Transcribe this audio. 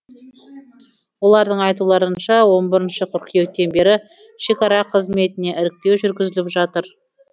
олардың айтуларынша он бірінші қыркүйектен бері шекара қызметіне іріктеу жүргізіліп жатыр